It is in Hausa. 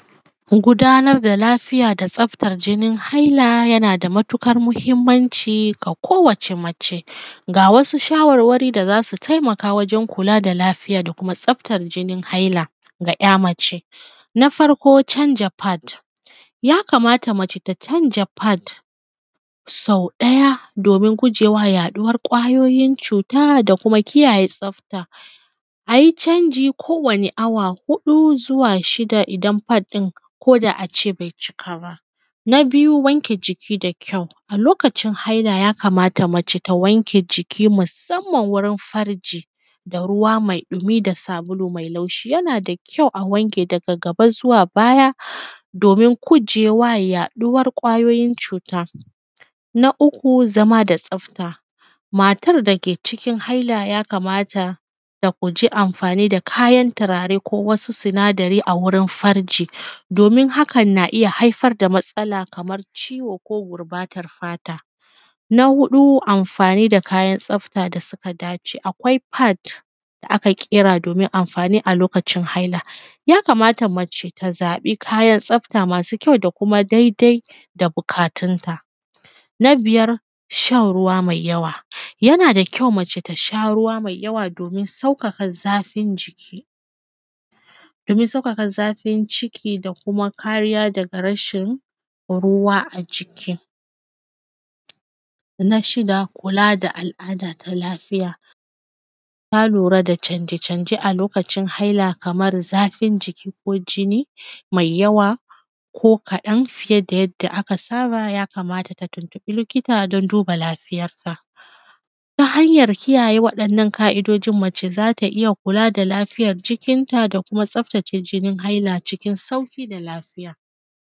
. Gudanar da lafiya da tsaftar jinin haila yana da matuƙar mahimmanci ga kowace mace, ga wasu shawarwari da zasu taimaka wajen kula da lafiya da kuma tsaftar jinin hailaga `ya mace na farko canja “pad” ya kamata mace ta canja pad sau ɗaya domin gujewa yaɗuwan ƙwayoyin cuta da kuma kiyaye tsafta, ayi canji kowani awa huɗu zuwa shida idan pad ɗin koda a ce bai cika ba, na biyu, wanke jiki da kyau, a lokacin haila ya kamata mace ta wanke jiki musamman wurin farji da ruwa mai ɗumi da sabulu mai laushi yana da kyau a wanke daga gaba zuwa baya domin gujewa yaɗuwan ƙwayoyin cuta na uku zama da tsafta, matan dake cikin haila ya kamata ta guji amfani da turare ko wasu sinadarai a wurin farji domin hakan na iya haifar da matsala kamar ciwo ko gurɓatar fata, na huɗu amfani da kayan tsafta da suka dace akwai pad da aka ƙera domin amfani a lokacin haila, ya kamata mace ta zaɓi kayan tsafta masu kyau da kuma dai dai da buƙatun ta, na biyar shan ruwa mai yawa, yana da kyau mace ta sha ruwa mai yawa domin sauƙaƙa zafin jiki domin sauƙaƙa zafin ciki da kuma kariya daga rashin ruwa a jiki, na shida kula da al`ada ta lafiya, na lura da canje canje a lokacin haila kamar zafin jiki ko jini mai yawa ko kaɗan fiye da yadda aka saba ya kamata ta tuntuɓi likita don duba lafiyarta, ta hanyar kiyaye waɗannan ƙa`idojin mace zata iya kula da lafiyar jikin ta da kuma tsaftace jinin haila cikin sauƙi da lafiya.